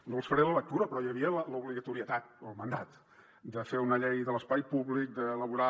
no els faré la lectura però hi havia l’obligatorietat el mandat de fer una llei de l’espai públic d’elaborar